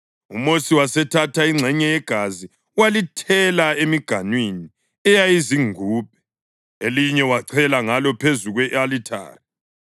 UMosi wasethatha ingxenye yegazi walithela emiganwini eyayizingubhe, elinye wachela ngalo phezu kwe-alithari.